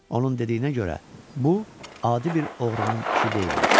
Onun dediyinə görə, bu adi bir oğrunun işi deyilmiş.